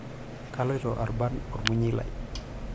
Kaloito abarn olmunyei lai.